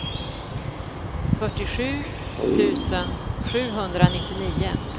fyrtiosju tusen sjuhundranittionio